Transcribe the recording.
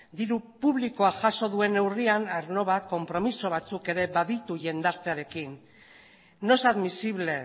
diru publikoa jaso duen neurrian arlo bat konpromiso batzuk baditu jendartearekin no es admisible